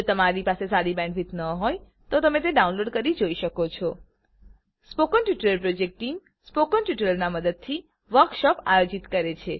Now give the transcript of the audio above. જો તમારી પાસે સારી બેન્ડવિડ્થ ન હોય તો તમે ડાઉનલોડ કરી તે જોઈ શકો છો સ્પોકન ટ્યુટોરીયલ પ્રોજેક્ટ ટીમસ્પોકન ટ્યુટોરીયલોની મદદથી વર્કશોપ આયોજિત કરે છે